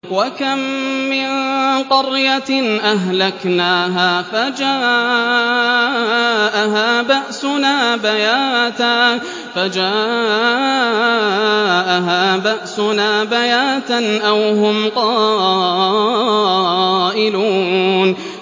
وَكَم مِّن قَرْيَةٍ أَهْلَكْنَاهَا فَجَاءَهَا بَأْسُنَا بَيَاتًا أَوْ هُمْ قَائِلُونَ